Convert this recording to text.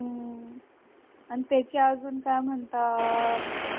हम्म आणि त्याच्या अजून काय म्हणतात